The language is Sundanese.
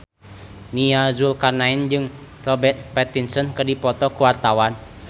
Nia Zulkarnaen jeung Robert Pattinson keur dipoto ku wartawan